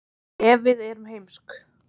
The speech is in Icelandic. ef við erum heimsk